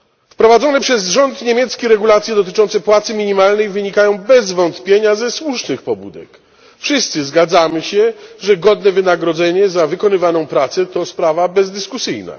Wprowadzone przez rząd niemiecki regulacje dotyczące płacy minimalnej wynikają bez wątpienia ze słusznych pobudek wszyscy zgadzamy się, że godne wynagrodzenie za wykonywaną pracę to sprawa bezdyskusyjna.